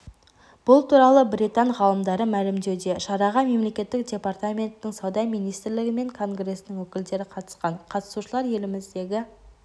бұл туралы британ ғалымдары мәлімдеуде шараға мемлекеттік департаментінің сауда министрлігі мен конгресінің өкілдері қатысқан қатысушылар еліміздегі